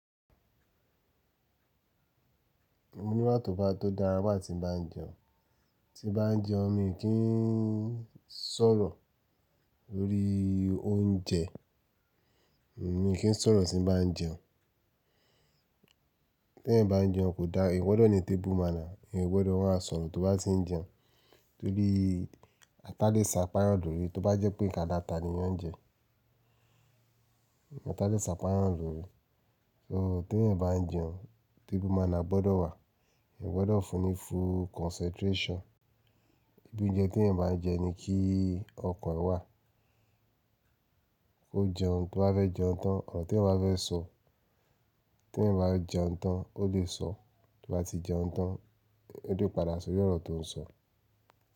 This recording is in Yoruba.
Mo ní bà tó bá tó dára bá ti ń bá jẹun. Ti bá ń jẹun mi kí ń sọ̀rọ̀ lórí oúnjẹ, mi kí ń sọ̀rọ̀ ti ń bá ń jẹun. Tí ẹ̀ ń bá ń jẹun kò da, èèyàn gbọdọ̀ ní tebu mana, èèyàn gbọdọ̀ wọ́n a sọ̀rọ̀ tó bá ti ń jẹun. Torí a tá lè ṣà pá èèyàn lòrí, tó bá jẹ́ pé nka alata ni wọ́n ń jẹ, atá lè ṣàpá èèyàn lòrí. So tí èèyàn ń bá ń jẹun, tábu mana gbọdọ̀ wà, èèyàn gbọdọ̀ fún un ní full concentration. Ibi ouńjẹ tí ẹ̀ ń bá ń jẹun ni kí ọkan ẹ̀ wà. KÓ jẹun tó bá fẹ́ jẹun tán, ọ̀rọ́ tí èèyàn bá fẹ́ sọ, tí èèyàn bá jẹun tán ó lè sọ, to bá ti jẹun tán, o lè padà sórí ọ̀rọ̀ tó ń sọ.